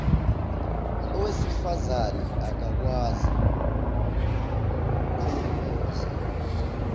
owesifazane akakwazi ukukhomuza